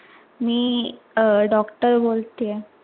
मी अह doctor बोलतीये.